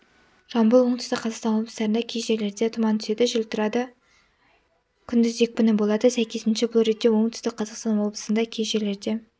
жамбыл оңтүстік қазақстан облыстарында кей жерлерде тұман түседі жел тұрады күндіз екпіні болады сәйкесінше бұл ретте оңтүстік қазақстан облысында кей жерлерде